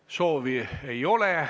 Seda soovi ei ole.